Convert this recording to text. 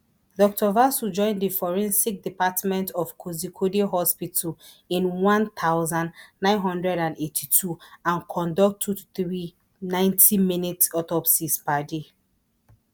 dr vasu join di forensic department of kozhikode hospital in one thousand, nine hundred and eighty-two and conduct two to three ninety minute autopsies per day